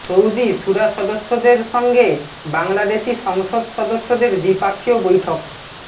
Saudi শূরা সদস্যদের সঙ্গে বাংলাদেশি সংসদ সদস্যদের দ্বিপক্ষীয় বৈঠক